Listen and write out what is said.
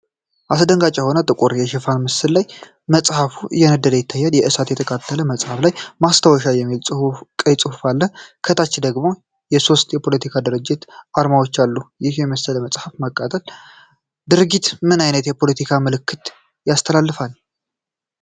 አስደንጋጭ የሆነ ጥቁር የሽፋን ምስል ላይ መጽሐፍ እየነደደ ይታያል። በእሳት የተቃጠለው መጽሐፍ ላይ “ማስታወሻ” የሚል ቀይ ጽሑፍ አለ። ከታች ደግሞ የሦስት የፖለቲካ ድርጅቶች አርማዎች አሉ። ይህን የመሰለ የመጽሐፍ ማቃጠል ድርጊት ምን አይነት የፖለቲካ መልዕክት ያስተላልፋል?